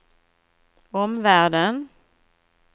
omvärlden